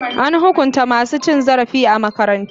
An hukunta masu cin zarafi a makarantara.